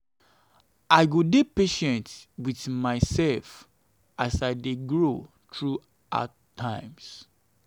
i go dey patient wit mysef as i dey grow through the hard times.